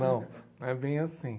Não, não é bem assim.